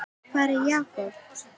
Hvar er Jakob?